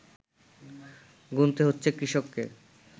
গুনতে হচ্ছে কৃষককে